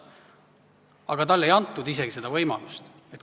Aga talle ei antud isegi seda võimalust.